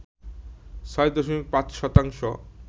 ৬ দশমিক ৫ শতাংশ